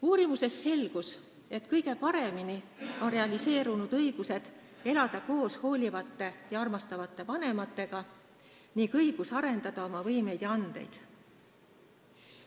Uurimusest selgus, et kõige paremini on realiseerunud õigus elada koos hoolivate ja armastavate vanematega ning õigus arendada oma võimeid ja andeid.